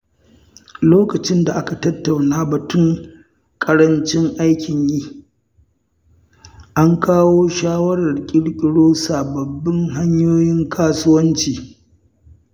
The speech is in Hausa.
Lokacin da aka tattauna batun ƙarancin aikin yi, an kawo shawarar ƙirƙiro sabbin hanyoyin kasuwanci.